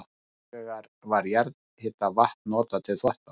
Hins vegar var jarðhitavatn notað til þvotta.